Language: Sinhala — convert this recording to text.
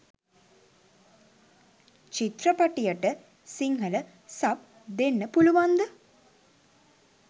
චිත්‍රපටියට සිංහල සබ් දෙන්න පුළුවන්ද?